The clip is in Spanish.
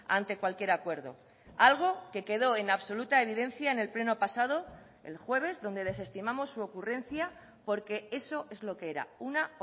ante cualquier acuerdo algo que quedo en absoluta evidencia en el pleno pasado el jueves donde desestimamos su ocurrencia porque eso es lo que era una